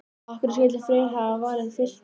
Af hverju skyldi Freyr hafa valið Fylki?